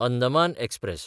Andaman express